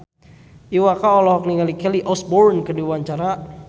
Iwa K olohok ningali Kelly Osbourne keur diwawancara